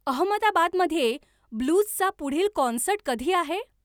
अहमदाबादमध्ये ब्लूजचा पुढील कॉन्सर्ट कधी आहे